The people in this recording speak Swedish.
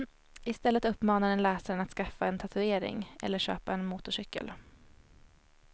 I stället uppmanar den läsaren att skaffa en tatuering eller köpa en motorcykel.